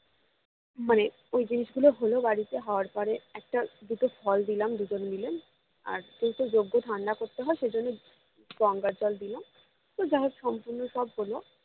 মানে ওই জিনিস গুলো হলো বাড়িতে হওয়ার পরে একটা দুটো জল দিলাম দুজন মিলে আর যেহেতু যজ্ঞ ঠান্ডা করতে হয় সেজন্য গঙ্গার জল দিলাম এবার যাইহোক সম্পূর্ণ সব হলো